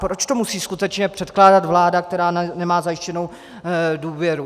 Proč to musí skutečně předkládat vláda, která nemá zajištěnou důvěru?